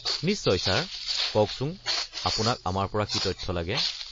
নিশ্চয়, ছাৰ! কওকচোন আপোনাক আমাৰ পৰা কি তথ্য লাগে?